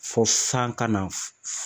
Fɔ san ka na